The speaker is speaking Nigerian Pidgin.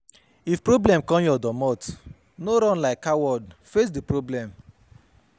If problem come your domot no run like coward, face di problem